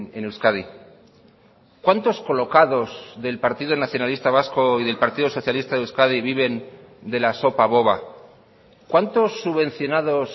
en euskadi cuántos colocados del partido nacionalista vasco y del partido socialista de euskadi viven de la sopa boba cuántos subvencionados